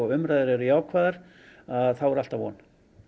umræður eru jákvæðar þá er alltaf von